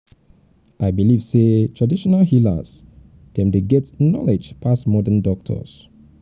i believe sey traditional healers dem dey get knowledge pass modern doctors.